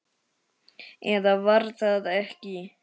Eða var það ekki?